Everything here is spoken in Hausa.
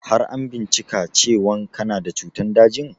Har an bincika cewan kana da cutan dajin?